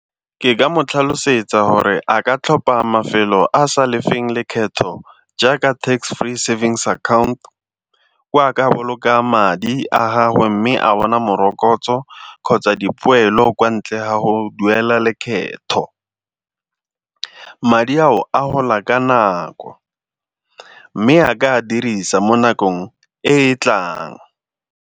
Ke ka mo tlhalosetsa gore a ka tlhopa mafelo a a sa lefeng lekgetho jaaka tax free savings account, ko a ka bolokang madi a gagwe mme a bona morokotso kgotsa dipoelo kwa ntle ha go duela lekgetho. Madi ao a gola ka nako, mme a ka a dirisa mo nakong e e tlang.